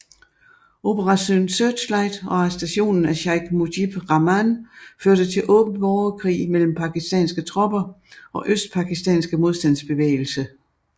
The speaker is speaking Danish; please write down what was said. Operation Searchlight og arrestationen af Sheik Mujib Rahman førte til åben borgerkrig mellem Pakistanske tropper og Østpakistanske modstandsbevægelse